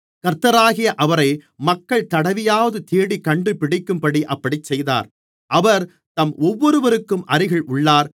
கர்த்தராகிய அவரை மக்கள் தடவியாவது தேடிக் கண்டுபிடிக்கும்படி அப்படிச் செய்தார் அவர் நம் ஒவ்வொருவருக்கும் அருகில் உள்ளார்